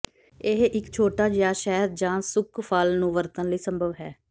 ਇਹ ਇੱਕ ਛੋਟਾ ਜਿਹਾ ਸ਼ਹਿਦ ਜ ਸੁੱਕ ਫਲ ਨੂੰ ਵਰਤਣ ਲਈ ਸੰਭਵ ਹੈ